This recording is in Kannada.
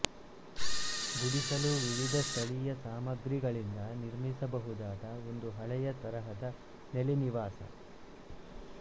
ಗುಡಿಸಲು ವಿವಿಧ ಸ್ಥಳೀಯ ಸಾಮಗ್ರಿಗಳಿಂದ ನಿರ್ಮಿಸಬಹುದಾದ ಒಂದು ಹಳೆಯ ತರಹದ ನೆಲೆನಿವಾಸ